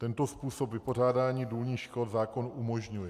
Tento způsob vypořádání důlních škod zákon umožňuje.